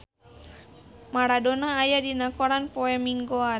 Maradona aya dina koran poe Minggon